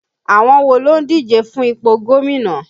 Àwọn wo ló ń díje fún ipò gómìnà?